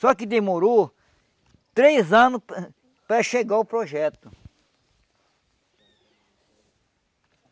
Só que demorou três anos para para chegar o projeto.